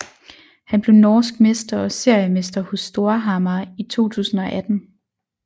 Han blev norsk mester og seriemester hos Storhamar i 2018